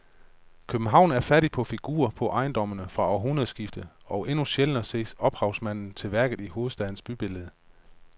København er fattig på figurer på ejendommene fra århundredskiftet og endnu sjældnere ses ophavsmanden til værket i hovedstadens bybillede.